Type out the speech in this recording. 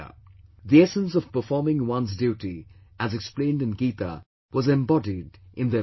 The essence of performing one's duty as explained in Gita was embodied in their persona